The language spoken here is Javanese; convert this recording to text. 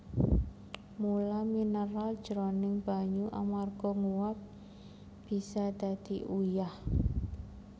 Mula mineral jroning banyu amarga nguap bisa dadi uyah